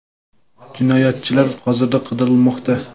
Jinoyatchilar hozirda qidirilmoqda.